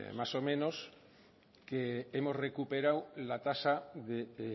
más o menos que hemos recuperado la tasa de